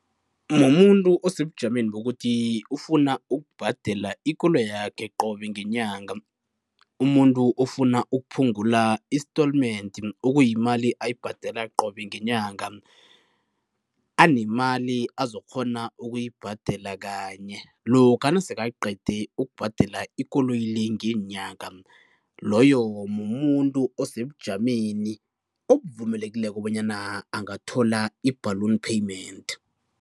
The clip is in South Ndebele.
Mumuntu osebujameni bokuthi ufuna ukubhadela ikoloyi yakhe qobe ngenyanga, umuntu ofuna ukuphungula istolmendi, okuyimali ayibhadela qobe ngenyanga anemali azokukghona ukuyibhadela kanye lokha nasekaqede ukubhadela ikoloyi le ngeenyanga, loyo mumuntu osebujameni obuvumelekileko bonyana angathola i-ballon payment.